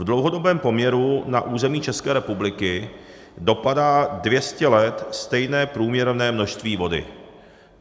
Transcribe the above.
V dlouhodobém poměru na území České republiky dopadá 200 let stejné průměrné množství vody.